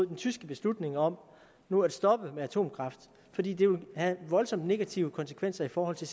den tyske beslutning om nu at stoppe med atomkraft fordi det vil have voldsomme negative konsekvenser i forhold til